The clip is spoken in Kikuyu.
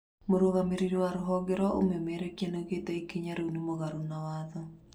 Mũrũgamĩrĩri wa rũhonge rwa ũmemerekia nĩaugĩte ikinya rĩu nĩ mũgarũ na watho